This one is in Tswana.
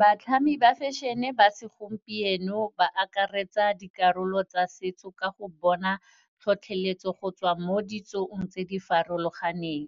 Batlhami ba fashion-e ba segompieno ba akaretsa dikarolo tsa setso ka go bona tlhotlheletso go tswa mo ditsong tse di farologaneng.